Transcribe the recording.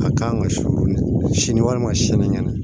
A kan ka sɔ minɛ sini walima sini ŋɛnɛ